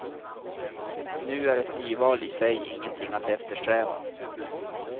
Nu är ett nyval i sig ingenting att eftersträva.